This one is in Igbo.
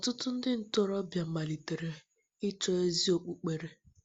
Ọtụtụ ndị ntorobịa malitere ịchọ ezi okpukpere.